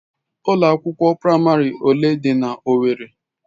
Ụlọ akwụkwọ praịmarị ole dị na owerri?